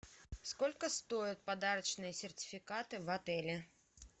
сколько стоят подарочные сертификаты в отеле